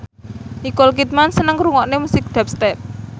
Nicole Kidman seneng ngrungokne musik dubstep